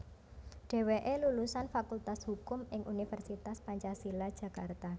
Dheweke lulusan Fakultas Hukum ing Universitas Pancasila Jakarta